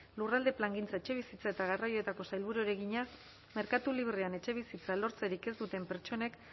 lurralde plangintza etxebizitza eta garraioetako sailburuari egina merkatu librean etxebizitzarik lortzen ez duten pertsonek